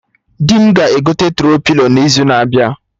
Di m ga-egote Tro-pilo n'izu na-abịa